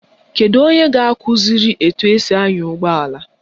Kedu onye ga-akụziri etu esi anya ụgbọala?